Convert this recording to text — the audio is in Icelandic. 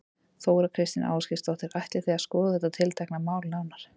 Þóra Kristín Ásgeirsdóttir: Ætlið þið að skoða þetta tiltekna mál nánar?